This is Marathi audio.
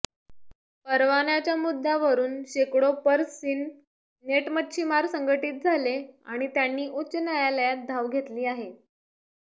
परवान्याच्या मुद्द्यावरून शेकडो पर्ससीन नेट मच्छीमार संघटित झाले आणि त्यांनी उच्च न्यायालयात धाव घेतली आहे